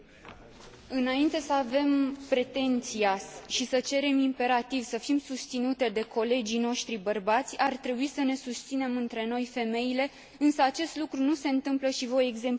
Înainte să avem pretenția și să cerem imperativ să fim susținute de colegii noștri bărbați, ar trebui să ne susținem între noi, femeile, însă acest lucru nu se ntâmplă și voi exemplifica.